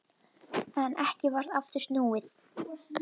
En ekki varð aftur snúið.